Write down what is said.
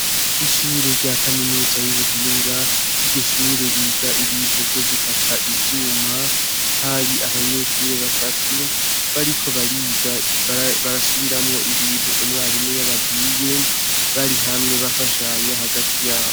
Ishure rya kaminuza y'ubuhinga iryo shure biga ibintu vyo gukata ivyuma hari abanyeshure batatu bariko bariga barasubiramo ibintu umwarimu yababiye bari hamwe bafashanya hagati yabo.